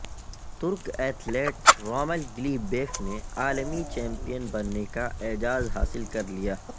ترک athlete Ramil Guliyev نے عالمی چیمپئن بننے کا اعزاز حاصل کر لیا